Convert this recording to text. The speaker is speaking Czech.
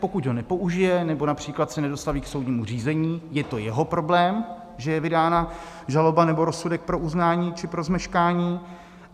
Pokud ho nepoužije nebo například se nedostaví k soudnímu řízení, je to jeho problém, že je vydána žaloba nebo rozsudek pro uznání či pro zmeškání.